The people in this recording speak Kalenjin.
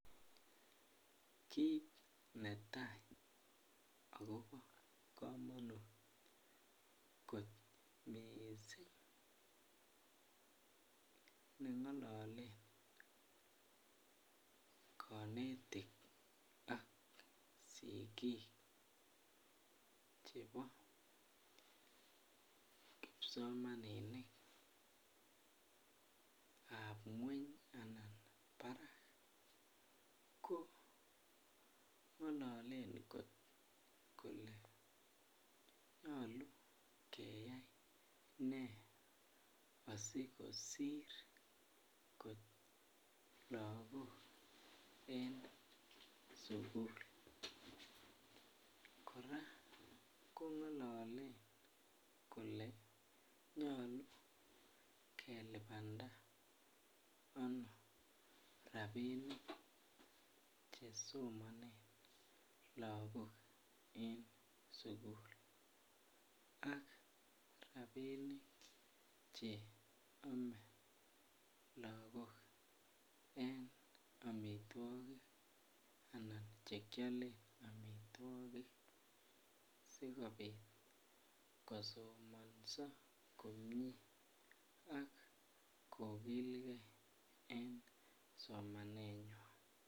Kit netai ago bo kamanut kot mising ne ngololen konetik ak sigik chebo kipsomaninik ab ngwony anan barak ko ngololen kot kole nyolu keyai ne asi kosir kot lagok en sukul kora kongololen kole nyolu kelipanda ano rabinik Che somonen lagok en sukul ak rabinik Che ame lagok en amitwogik Anan Che kialen amitwogik asikobit kosomanso komie ak kogilgei en somanenywan